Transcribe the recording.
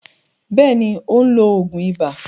Bẹ́ẹ̀ni, ó ń lo òògùn ibà.